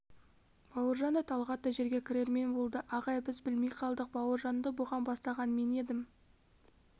бауыржан да талғат та жерге кірермен болды ағай біз білмей қалдық бауыржанды бұған бастаған мен едім